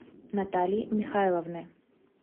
натальи михайловны